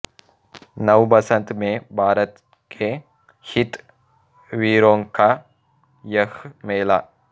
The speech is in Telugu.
నవ్ బసంత్ మే భారత్ కే హిత్ వీరోంకా యహ్ మేలా